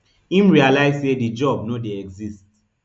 im realise say di job no dey exist